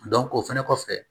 o fɛnɛ kɔfɛ